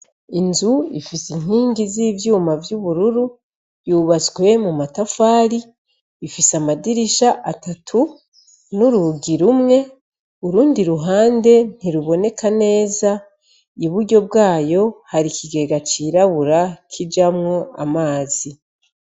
Inzu ifise inkingi z'ivyuma vy'ubururu, yubatswe mu matafari, ifise amadirisha atatu n'urugi rumwe, urundi ruhande ntiruboneka neza, iburyo bwayo, hari ikigega cirabura kijamwo amazi.